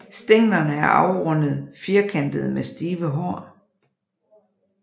Stænglerne er afrundet firkantede med stive hår